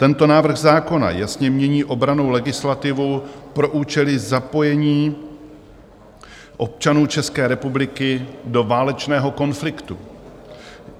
Tento návrh zákona jasně mění obrannou legislativu pro účely zapojení občanů České republiky do válečného konfliktu.